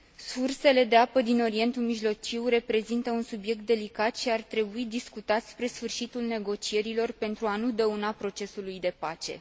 Sursele de apă din Orientul Mijlociu reprezintă un subiect delicat și ar trebui discutat spre sfârșitul negocierilor, pentru a nu dăuna procesului de pace.